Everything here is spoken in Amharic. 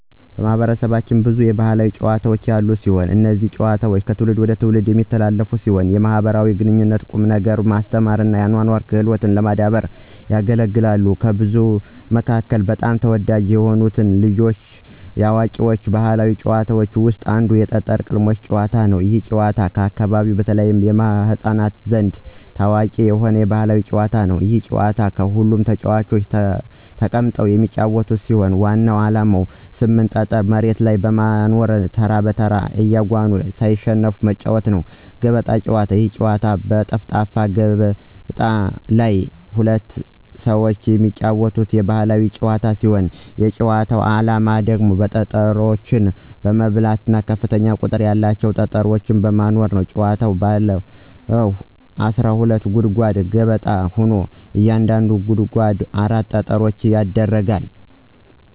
ማህበረሰባችን ብዙ የባህላዊ ጨዋታዎች ያሉት ሲሆን። እነዚህ ጨዋታዎች ከትውልድ ትውልድ የሚተላለፉ ሲሆን ለማኅበራዊ ግንኙነት፣ ቁም ነገር ማስተማር እና አኗኗራዊ ክህሎቶችን ለማዳበር ያገለግላሉ። ከብዙዎቹ መካከል በጣም ተወዳጅ የሆኑት የልጆች ወይም የአዋቂዎች ባህላዊ ጨዋታዎች ውስጥ አንዱ የጠጠር ቅልቦሽ ጭዋታ ይባላል። ይህ ጨዋታ በአካባቢያችን በተለይም በሕፃናት ዘንድ ታዋቂ የሆነ የባህል ጨዋታ ነው። ይህ ጨዋታ ሁለት ተጫዋቾች ተቀምጠው የሚጫወቱት ሲሆን ዋናው ዓላማ 8 ጠጠር መሬት ላይ በማኖር ተራ በተራ እያጎኑ ሳይሸነፉ መጫዎት ነው። ገበጣ ጨዋታ የጨዋታ አይነት በጠፍጣፋ ገበቴ ላይ ሁለት ሰዎች የሚጫወቱት የባህል ጨዋታ ነው። የጭዋታው አላማ ጠጠሮች በመብላት ከፍተኛ ቁጥር ያላቸውን ጠጠሮች መኖር ነው። ጭዋታዉ ባለ 12 ጉድጓድ ገበጣ ሆኖ እያንዳንዱ ጉድጓድ 4 ጠጠሮች ይደረጋሉ።